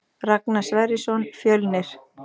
Ragnar Sverrisson Fjölnir